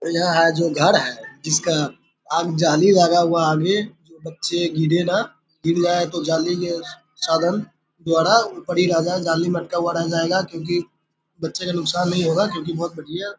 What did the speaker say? यहाँ यह जो घर है जिसका आम जाली लगा हुआ है आगे तो बच्चे गिरे न गिर जाये तो जाली ये साधन द्वारा ऊपर ही रह जाए जाली में अटका हुआ ही रह जाएगा क्यूंकि बच्चे का नुकसान नहीं होगा क्यूंकि बहुत बढ़िया --